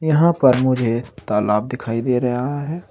यहां पे मुझे तालाब दिखाई दे रहा है।